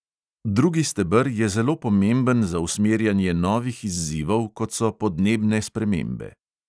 Drugi steber je zelo pomemben za usmerjanje novih izzivov, kot so podnebne spremembe.